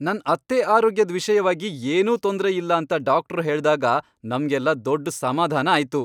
ನನ್ ಅತ್ತೆ ಆರೋಗ್ಯದ್ ವಿಷ್ಯವಾಗಿ ಏನೂ ತೊಂದ್ರೆಯಿಲ್ಲ ಅಂತ ಡಾಕ್ಟ್ರು ಹೇಳ್ದಾಗ ನಮ್ಗೆಲ್ಲ ದೊಡ್ಡ್ ಸಮಾಧಾನ ಆಯ್ತು.